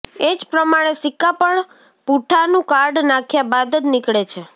એ જ પ્રમાણે સિક્કા પણ પુંઠાનું કાર્ડ નાંખ્યા બાદ જ નીકળે છે